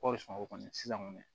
o kɔni sisan kɔni